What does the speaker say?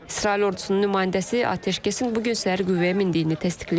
İsrail ordusunun nümayəndəsi atəşkəsin bu gün səhər qüvvəyə mindiyini təsdiqləyib.